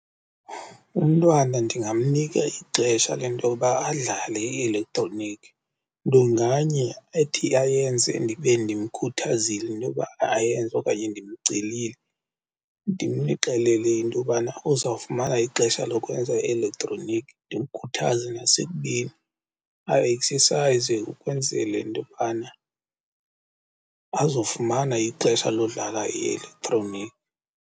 Umntwana ndingamnika ixesha le nto yoba adlale i-elektroniki, nto nganye ethi ayenze ndibe ndimkhuthazile intoba ayenze okanye ndimcelile. Ndimxelele intobana uzawufumana ixesha lokwenza i-elektroniki ndimkhuthaze nasekubeni a-eksesayize ukwenzele intobana azofumana ixesha lokudlala i-elektroniki.